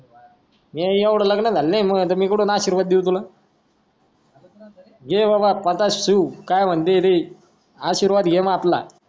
एवढा लग्न झाला नाय मी कुटून आशिर्वाद देव तुला दे बाबा प्रकाशिव काय म्हणते ती आशिर्वाद घेम आपला